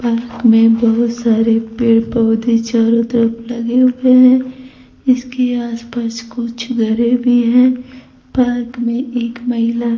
park में बहुत सारे पेड़ पौधे चारों तरफ लगे हुए हैं इसके आस पास कुछ घरे भी हैं पार्क में एक महिला--